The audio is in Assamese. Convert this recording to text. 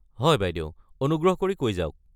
হয় বাইদেউ অনুগ্ৰহ কৰি কৈ যাওক।